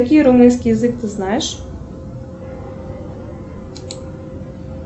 какие румынский язык ты знаешь